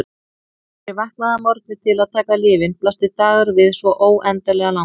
Þegar ég vaknaði að morgni til að taka lyfin blasti dagurinn við svo óendanlega langur.